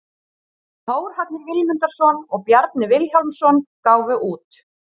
Þórhallur Vilmundarson og Bjarni Vilhjálmsson gáfu út.